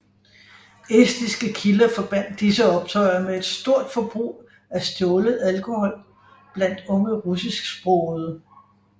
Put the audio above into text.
Estiske kilder forbandt disse optøjer med et stort forbrug af stjålet alkohol blandt unge russisksprogede